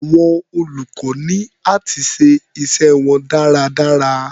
Àwọn olùkọ́ ní áti ṣe iṣẹ́ wọn dáradára.